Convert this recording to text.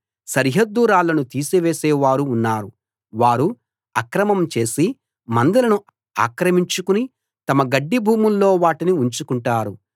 సరిహద్దు రాళ్లను తీసేసే వారు ఉన్నారు వారు అక్రమం చేసి మందలను ఆక్రమించుకుని తమ గడ్డి భూముల్లో వాటిని ఉంచుకుంటారు